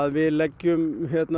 við leggjum